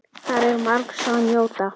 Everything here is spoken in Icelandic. Þar er margs að njóta.